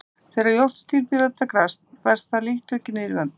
Þegar jórturdýr bíta gras berst það lítt tuggið niður í vömbina.